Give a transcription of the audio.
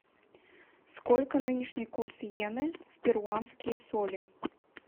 сколько нынешний курс йены в перуанские соли